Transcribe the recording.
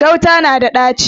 Gauta na da ɗaci.